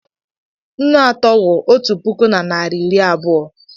Nnu atọ wụ otu puku na narị iri abụọ.